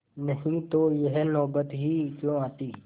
नहीं तो यह नौबत ही क्यों आती